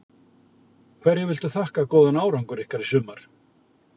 Hverju viltu þakka góðan árangur ykkar í sumar?